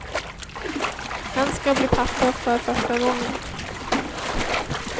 Han ska bli pappa för första gången.